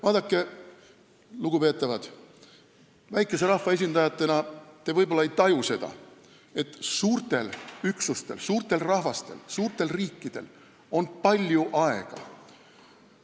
Vaadake, lugupeetavad, te võib-olla ei taju väikese rahva esindajatena seda, et suurtel üksustel, suurtel rahvastel, suurtel riikidel on palju aega.